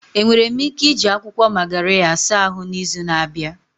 Enwere m ike iji akwụkwọ Magarya saa ahụ n'izu na-abịa?